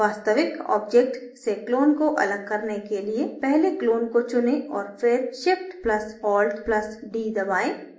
वास्तविक object से clone को अलग करने के लिए पहले clone को चुनें औऱ फिर shift + alt + d दबाएँ